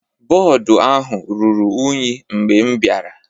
Bọọdụ ahụ ruru unyi mgbe m bịara.